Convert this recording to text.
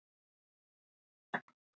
Líður eins og heima.